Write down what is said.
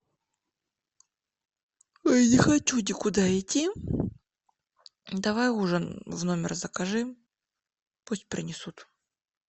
не хочу никуда идти давай ужин в номер закажи пусть принесут